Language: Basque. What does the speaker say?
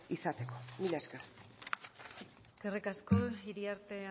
izateko mila esker eskerrik asko iriarte